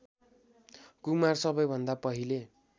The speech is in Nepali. कुमार सबैभन्दा पहिले